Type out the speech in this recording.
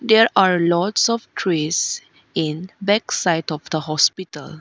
there are lots of trees in back side of the hospital.